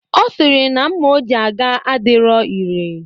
Ọ sịrị na mma o ji gaa adirọ ire.